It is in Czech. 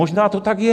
Možná to tak je.